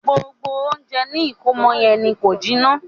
Gbogbo ounjẹ ni ìkómọ yẹn ni ko jiná.